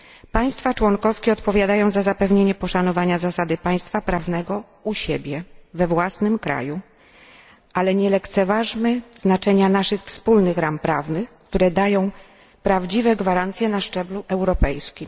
Państwa członkowskie odpowiadają za zapewnienie poszanowania zasady państwa prawnego u siebie, we własnym kraju, ale nie lekceważmy znaczenia naszych wspólnych ram prawnych, które dają prawdziwe gwarancje na szczeblu europejskim.